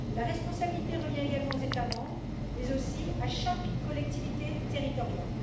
La responsabilité revient également aux États membres, mais aussi à chaque collectivité territoriale.